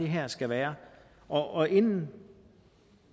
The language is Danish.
her skal være og inden